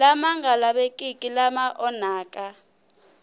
lama nga lavekeki lama onhaka